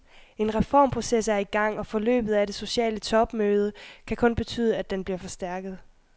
En reformproces er i gang, og forløbet af det sociale topmøde kan kun betyde, at den bliver forstærket.